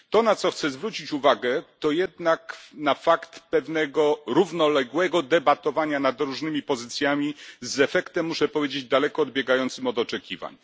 To, na co chcę zwrócić uwagę, to jednak na fakt pewnego równoległego debatowania nad różnymi pozycjami z efektem, muszę powiedzieć, daleko odbiegającym od oczekiwań.